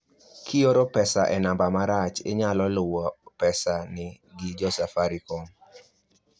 kioro pesa e namba marach inyalo luwo pesa ni gi jo safaricom